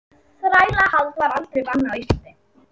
þrælahald var aldrei bannað á íslandi